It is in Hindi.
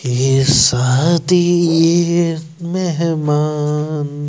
ये शादी ये मेहमान--